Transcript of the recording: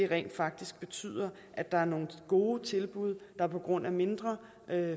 rent faktisk betyder at der er nogle gode tilbud der på grund af mindre